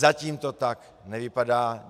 Zatím to tak nevypadá.